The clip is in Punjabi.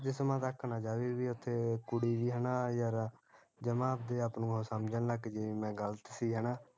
ਜਿਸਮਾਂ ਤਕ ਨਾ ਜਾਵੇ ਵੀ ਉੱਥੇ ਕੁੜੀ ਹੈਨਾ ਯਾਰ ਜਮਾ ਆਪਦੇ ਆਪ ਨੂੰ ਉਹ ਸਮਜਣ ਲੱਗਜੇ ਵੀ ਮੈਂ ਗਲਤ ਸੀ ਹੈਨਾ